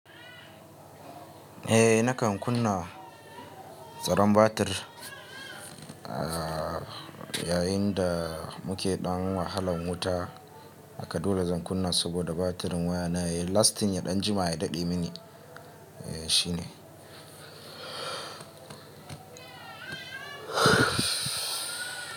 Eh nakan kunna tsaron batir, yayin da muke ɗan wahalan wuta. Haka dole zan kunna saboda batirin waya na yayi lastin ya ɗan jima ya daɗe mini. Eh shine.